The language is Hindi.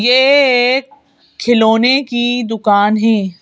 ये एक खिलौने की दुकान है।